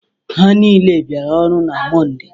Ha niile biara ọrụ na Mọnde